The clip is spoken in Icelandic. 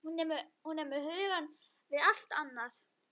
Hún er með hugann við allt annað.